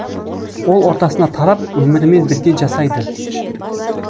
ол ортасына тарап өмірімен бірге жасайды